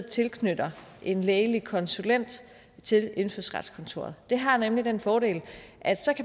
tilknytte en lægelige konsulent til indfødsretskontoret det har nemlig den fordel at